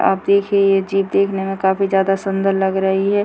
आप देखिए ये जीप देखने में काफी जादा सुंदर लग रही है।